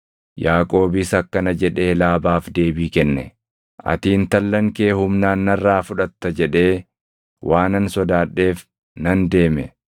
Yaaqoobis akkana jedhee Laabaaf deebii kenne; “Ati intallan kee humnaan narraa fudhatta jedhee waanan sodaadheef nan deeme.